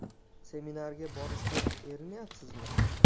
Seminarga borishga erinayapsizmi?